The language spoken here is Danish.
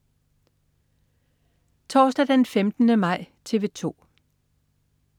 Torsdag den 15. maj - TV 2: